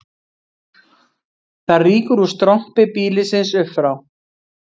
Það rýkur úr strompi býlisins upp frá